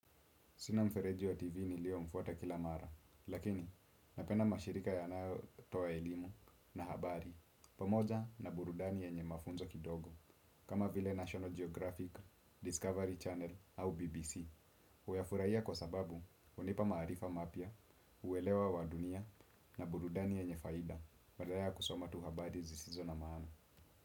Sina mfereji wa TV nilio mfuata kila mara, lakini napenda mashirika yanayo toa elimu na habari, pamoja na burudani yenye mafunzo kidogo, kama vile National Geographic, Discovery Channel au BBC. Huya furahia kwa sababu, hunipa maarifa mapya, uelewa wa dunia na burudani yenye faida, badala ya kusoma tu habari zisizo na maana.